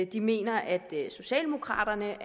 de mener at socialdemokraterne